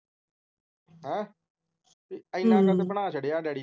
ਐਨਾ ਕੁ ਤਾਂ ਬਣਾ ਛੱਡਿਆ ਡੈਡੀ ਨੇ ਹਮ